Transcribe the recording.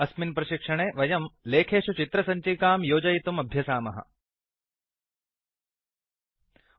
अस्मिन् प्रशिक्षणे वयम् लेखेषु चित्र सञ्चिकांइमेज् फैल् योजयितुं अभ्यसामः